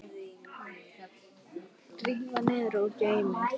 Rífið niður og geymið.